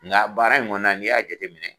Nga baara in kɔnɔ na n'i y'a jate minɛ